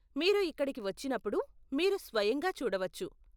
మీరు ఇక్కడికి వచ్చినప్పుడు, మీరు స్వయంగా చూడవచ్చు.